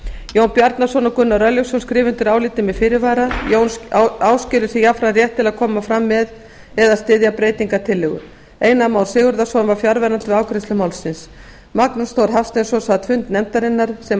jón bjarnason og gunnar örlygsson skrifa undir álitið með fyrirvara jón áskilur sér jafnframt rétt til að koma fram með eða styðja breytingartillögu einar már sigurðarson var fjarverandi við afgreiðslu málsins magnús þór hafsteinsson sat fundi nefndarinnar sem